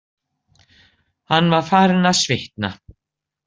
Hann var farinn að svitna.